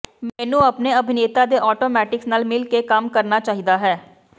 ਮੈਨੂੰ ਆਪਣੇ ਅਭਿਨੇਤਾ ਦੇ ਆਟੋਮੇਟਿਕਸ ਨਾਲ ਮਿਲ ਕੇ ਕੰਮ ਕਰਨਾ ਚਾਹੀਦਾ ਹੈ